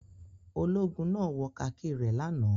Ológun náà wọ kakí rẹ̀ lánàá.